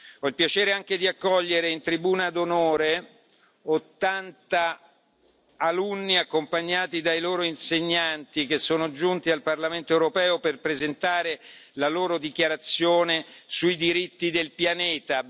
Ho il piacere anche di accogliere in tribuna d'onore ottanta alunni accompagnati dai loro insegnanti che sono giunti al Parlamento europeo per presentare la loro dichiarazione sui diritti del pianeta.